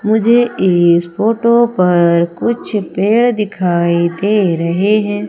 मुझे इस फोटो पर कुछ पेड़ दिखाई दे रहे है।